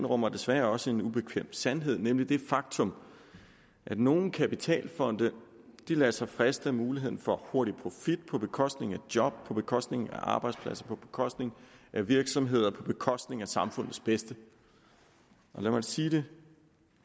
rummer desværre også en ubekvem sandhed nemlig det faktum at nogle kapitalfonde lader sig friste af muligheden for hurtig profit på bekostning af job på bekostning af arbejdspladser på bekostning af virksomheder på bekostning af samfundets bedste og lad mig sige det